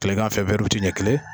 Tilegan fɛ ɲɛ kelen